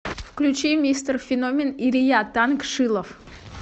включи мистер феномен илья танк шилов